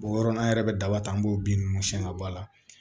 o yɔrɔ la an yɛrɛ bɛ daba ta an b'o bin ninnu siyɛn ka bɔ a la